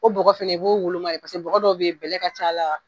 O bɔgɔ fana i b'o woloma de paseke bɔgɔ dɔ bɛ yen, bɛlɛ ka ca a la.